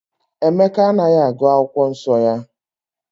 Emeka anaghị agụ akwụkwọ nsọ ya